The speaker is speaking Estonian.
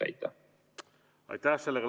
Aitäh!